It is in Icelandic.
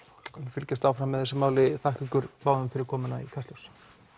fylgjumst áfram með þessu máli þakka ykkur báðum fyrir komuna í Kastljós